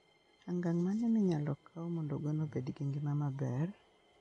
Angang' mane minyalo kaw mondo gwen obed gi ngima maber?